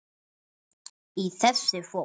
Í þessu fót